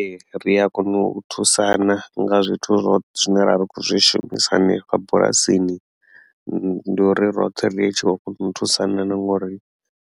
Ee ri a kona u thusana nga zwithu ro zwine ra vha khou zwi shumisa hanefha bulasini ndi uri roṱhe ri tshi khou kona u thusana na ngori